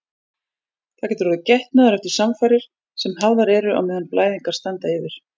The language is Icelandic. Það getur orðið getnaður eftir samfarir sem hafðar eru á meðan blæðingar standa yfir.